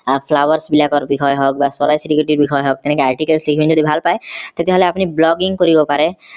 flowers বিলাকৰ বিষয়ে হওক বা চৰাই চিৰিকতিৰ বিষয়ে হওক এনেকে articles লিখি যদি ভাল পায় তেতিয়া হলে আপোনি blogging কৰিব পাৰে